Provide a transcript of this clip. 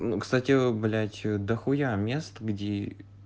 ну кстати блять до хуя мест где